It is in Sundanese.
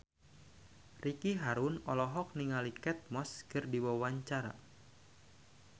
Ricky Harun olohok ningali Kate Moss keur diwawancara